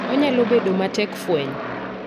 Onyalo bedo matek fwenyo.